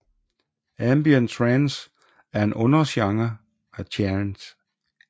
Ambient trance er en undergenre af trance